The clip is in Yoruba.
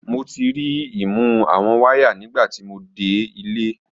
Mo ti ri i mu awọn waya nigbati mo de ile.